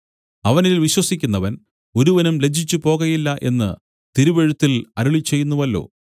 അവനിൽ വിശ്വസിക്കുന്നവൻ ഒരുവനും ലജ്ജിച്ചുപോകയില്ല എന്നു തിരുവെഴുത്തിൽ അരുളിച്ചെയ്യുന്നുവല്ലോ